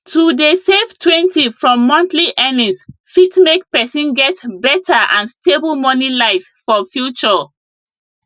to dey savetwentyfrom monthly earnings fit make person get better and stable money life for future